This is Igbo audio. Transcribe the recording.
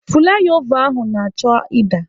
Fụlaịova ahụ na-achọ ịda.